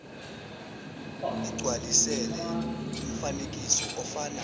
igcwalisele umfanekiso ofana